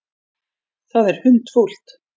Það er hundfúlt.